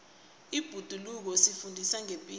ibhoduluko lisifundisa ngepilo